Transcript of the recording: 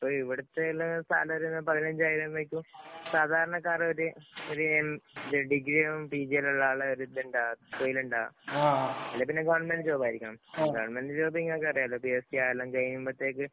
അപ്പൊ ഇവിടത്തെ സാലറി എന്ന് പറയുന്നേ പതിനഞ്ചായിരം വയ്ക്കും. സാധാരണക്കാരന്‍ ഒരു ഡിഗ്രിയാകും, പിജി അല്ലെ, പിന്നെ ഗവണ്മെന്‍റ് ജോബ്‌ ആയിരിക്കണം. ഗവണ്മെന്‍റ് ജോബ്‌ നിങ്ങക്ക് അറിയാലോ. പിഎസ് സി കാലം കഴിയുമ്പോഴേക്കും